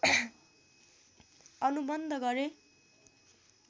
अनुबन्ध गरे